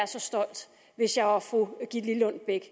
så stolt hvis jeg var fru gitte lillelund bech